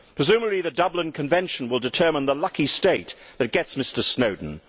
Presumably the Dublin Convention will determine the lucky state that gets Mr Snowden.